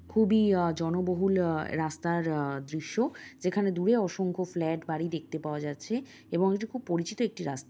খুবই আহ জন বহুল আ রাস্তার আ দৃশ্য। যেখানে দূরে অসংখ্য ফ্লাট বাড়ি দেখতে পাওয়া যাচ্ছে এবং এটি খুব পরিচিত একটি রাস্তা।